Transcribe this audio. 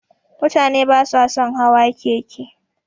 Mutane basa sun hawa keke.